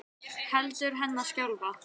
Hendur hennar skjálfa.